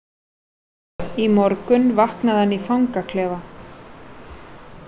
Í morgun vaknaði hann í fangaklefa.